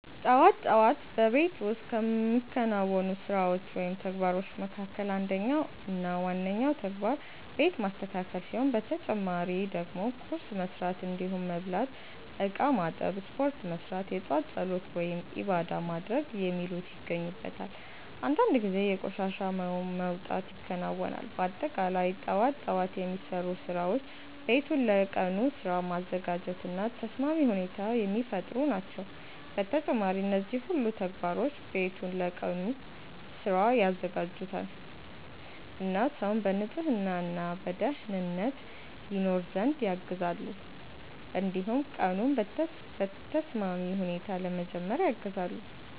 ጠዋት ጠዋት በቤት ውስጥ ከሚከናወኑ ስራዎች ወይም ተግባሮች መካከል አንደኛው እና ዋነኛው ተግባር ቤት ማስተካከል ሲሆን በተጨማሪ ደግሞ ቁርስ መስራት እንዲሁም መብላት፣ እቃ ማጠብ፣ ስፖርት መስራት፣ የጧት ፀሎት(ዒባዳ) ማድረግ የሚሉት ይገኙበታል። አንዳንድ ጊዜ የቆሻሻ መውጣት ይከናወናል። በአጠቃላይ ጠዋት ጠዋት የሚሰሩ ስራዎች ቤቱን ለቀኑ ስራ ማዘጋጀት እና ተስማሚ ሁኔታ የሚፈጥሩ ናቸው። በተጨማሪም እነዚህ ሁሉ ተግባሮች ቤቱን ለቀኑ ስራ ያዘጋጁታል እና ሰውን በንጽህና እና በደኅንነት ይኖር ዘንድ ያግዛሉ። እንዲሁም ቀኑን በተስማሚ ሁኔታ ለመጀመር ያግዛሉ።